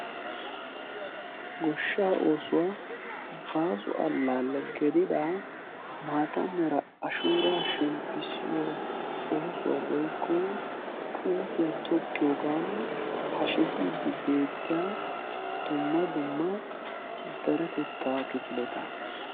Goshshaa oosuwa baaso allaalle gidida maata mera ashuuraa shemppissiyoo oosuwa woykko puutiyaa tokkiyoogan hashetiiddi beettiyaa dumma dumma deretettaa kifileta.